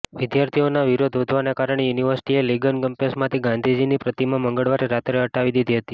વિદ્યાર્થીઓના વિરોધ વધવાના કારણે યુનિવર્સિટીએ લીગન કેમ્પસમાંથી ગાંધીજીની પ્રતિમા મંગળવારે રાત્રે હટાવી દીધી હતી